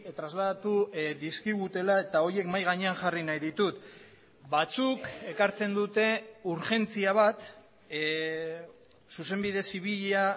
trasladatu dizkigutela eta horiek mahai gainean jarri nahi ditut batzuk ekartzen dute urgentzia bat zuzenbide zibila